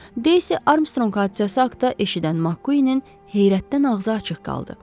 Daisy Armstrong hadisəsi haqda eşidən McQuinnin heyrətdən ağzı açıq qaldı.